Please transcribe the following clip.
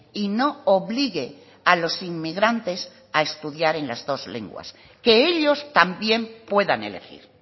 y no obligue a los inmigrantes a estudiar en las dos lenguas que ellos también puedan elegir